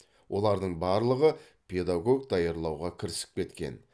олардың барлығы педагог даярлауға кірісіп кеткен